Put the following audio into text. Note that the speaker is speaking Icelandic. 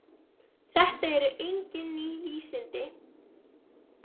Þetta eru engin ný vísindi.